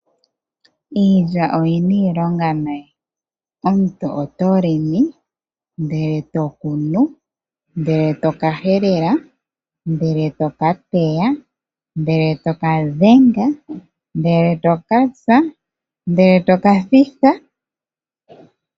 Iilya oyi na iilonga nayi, omuntu oto longo, ndele e to kunu, ndele e to ka helela, ndele to ka teya, ndele to ka dhenga, ndele to ka tsa, ndele to ka thitha.